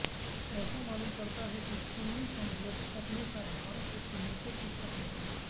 ऐसा मालूम पड़ता है कि थोन्मी सम्भोट अपने साथ भारत से अनेकों पुस्तकें ले गए